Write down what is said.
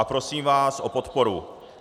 A prosím vás o podporu.